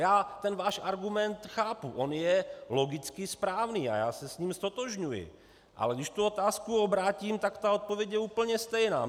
Já ten váš argument chápu, on je logicky správný a já se s ním ztotožňuji, ale když tu otázku obrátím, tak ta odpověď je úplně stejná.